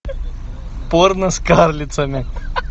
порно с карлицами